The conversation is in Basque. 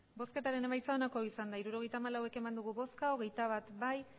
hirurogeita hamalau eman dugu bozka hogeita bat bai